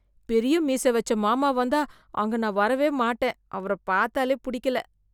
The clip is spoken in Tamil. பெரிய மீச வச்ச மாமா வந்தா , அங்க நான் வரவே மாட்டேன். அவர பார்த்தாலே புடிக்கல.